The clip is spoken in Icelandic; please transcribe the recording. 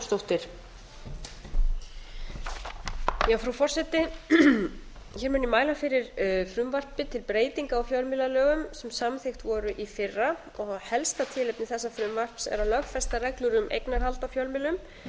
frú forseti hér mun ég mæla fyrir frumvarpi til breytinga á fjölmiðlalögum sem samþykkt voru í fyrra og helsta tilefni þessa frumvarps er að lögfesta reglur um eignarhald á fjölmiðlum